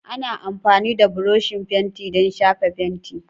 Ana amfani da buroshi fenti don shafa fenti.